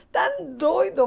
Estão doidos.